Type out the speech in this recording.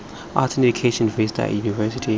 arts in education vista university